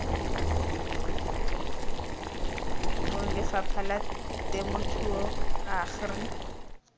bong lefapha la temothuo agri